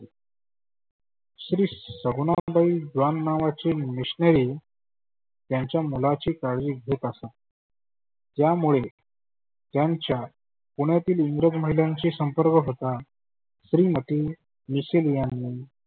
श्री सगुनाबाई द्वान नावाचे मिशनरी त्याच्या मुलाची काळजी घेत असत. ज्या मुळे त्याच्या पुण्यातील उरव मैदानचे संपर्क होता. श्रीमती मिशेल यांनी